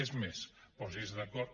és més posi’s d’acord